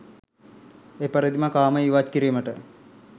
එපරිදිම කාමය ඉවත් කිරීමට